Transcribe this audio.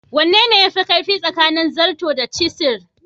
Wane ne yafi kaifi tsakanin zarto da cisir?